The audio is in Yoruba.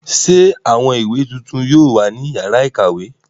Ṣé àwọn ìwé tuntun yóò wà ní ìyàrá-ìkàwé?